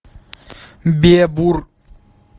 бебур